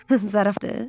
Zarafatdır?